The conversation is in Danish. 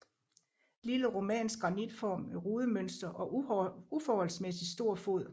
Lille romansk granitfont med rudemønster og uforholdsmæssig stor fod